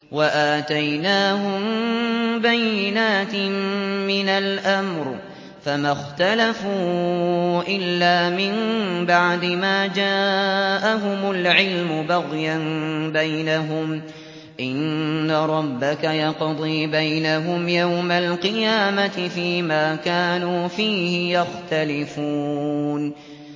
وَآتَيْنَاهُم بَيِّنَاتٍ مِّنَ الْأَمْرِ ۖ فَمَا اخْتَلَفُوا إِلَّا مِن بَعْدِ مَا جَاءَهُمُ الْعِلْمُ بَغْيًا بَيْنَهُمْ ۚ إِنَّ رَبَّكَ يَقْضِي بَيْنَهُمْ يَوْمَ الْقِيَامَةِ فِيمَا كَانُوا فِيهِ يَخْتَلِفُونَ